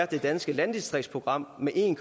det danske landdistriktsprogram med en